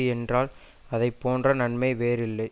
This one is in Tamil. என்றால் அதை போன்ற நன்மை வேறு இல்லை